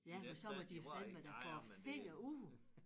Ja men så må de fandeme da få æ finger ud